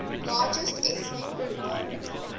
largest ethnic group